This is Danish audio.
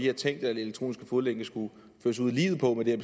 har tænkt at elektronisk fodlænke skulle føres ud i livet på er